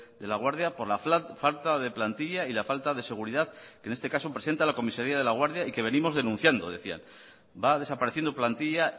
de laguardia por la falta de plantilla y la falta de seguridad que en este caso presenta la comisaría de laguardia y que venimos denunciando decían va desapareciendo plantilla